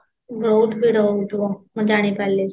ବହୁତ ଭିଡ଼ ହୋଉ ଥିବ ମୁଁ ଜାଣି ପାଇଲି